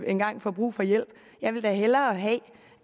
engang får brug for hjælp jeg vil da hellere have